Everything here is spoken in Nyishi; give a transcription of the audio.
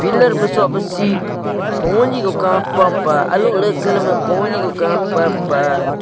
larh baso basih poni kapa pah ahlo leh katalam poni ku kapa pahh.